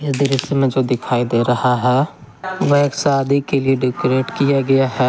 इस दृश्य में जो दिखाई दे रहा है वह एक शादी के लिए डेकोरेट किया गया है।